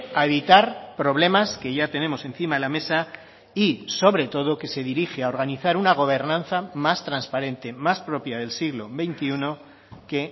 a evitar problemas que ya tenemos encima de la mesa y sobre todo que se dirige a organizar una gobernanza más transparente más propia del siglo veintiuno que